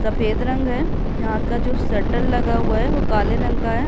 सफेद रंग यहाँ का जो शटल लगा हुआ है वो काले रंग का --